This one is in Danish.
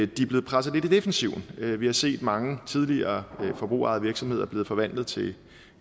de er blevet presset lidt i defensiven vi vi har set at mange tidligere forbrugerejede virksomheder er blevet forvandlet til